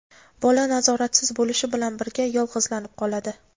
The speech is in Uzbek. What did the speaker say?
bola nazoratsiz bo‘lishi bilan birga yolg‘izlanib qoladi.